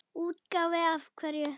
Útgáfu af hverju?